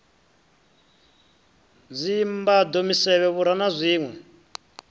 dzimbado misevhe vhura na zwinwe